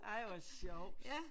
Ej hvor sjovt